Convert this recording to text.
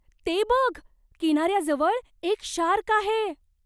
ते बघ! किनाऱ्याजवळ एक शार्क आहे!